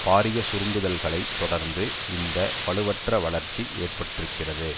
பாரிய சுருங்குதல்களை தொடர்ந்து இந்த வலுவற்ற வளர்ச்சி ஏற்பட்டிருக்கிறது